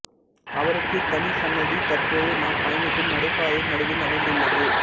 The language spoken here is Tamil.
அவருக்கு தனிச்சன்னதி தற்போது நாம் பயணிக்கும் நடைபாதையின் நடுவில் அமைந்துள்ளது